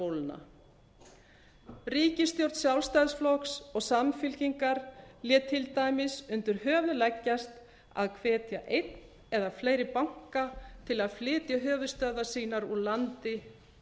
eignabóluna ríkisstjórn sjálfstæðisflokks og samfylkingar lét til dæmis undir höfuð leggjast að hvetja einn eða fleiri banka til að flytja höfuðstöðvar sínar úr landi